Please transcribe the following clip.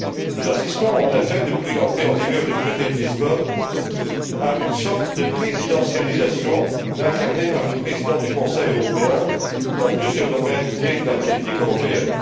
Nous assistons en effet, depuis l'entrée en vigueur du traité de Lisbonne, à une sorte de présidentialisation incarnée par le président du Conseil européen dans plusieurs domaines clés de la politique européenne.